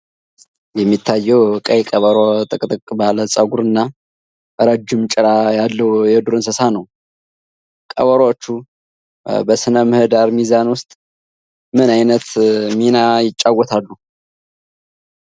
የሚታየው ቀይ ቀበሮ ጥቅጥቅ ባለ ፀጉርና ረጅም ጭራ ያለው የዱር እንስሳ ነው። ቀበሮዎች በሥነ-ምህዳር ሚዛን ውስጥ ምን ዓይነት ሚና ይጫወታሉ?